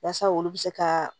Yaasa olu bɛ se ka